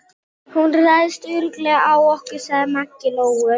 Hún ræðst örugglega á okkur, sagði Maggi Lóu.